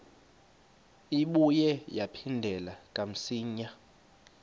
ibuye yaphindela kamsinya